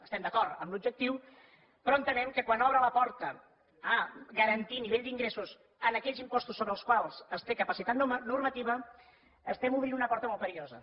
estem d’acord en l’objectiu però entenem que quan obre la porta a garantir nivell d’ingressos en aquells impostos sobre els quals es té capacitat normativa estem obrint una porta molt perillosa